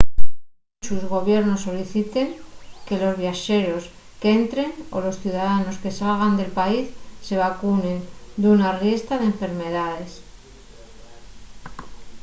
munchos gobiernos soliciten que los viaxeros qu’entren o los ciudadanos que salgan del país se vacunen d’una riestra d’enfermedaes